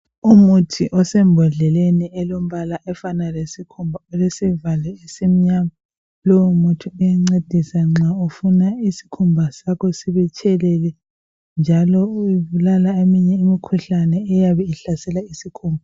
Umuthi osembodleleni elombala ofana lesikhumba olesivalo esimnyama Lowo muthi uyancedisa nxa ufuna isikhumba sakho sitshelele njalo ubulala eminye imkhuhlane eyabe ihlasela isikhumba .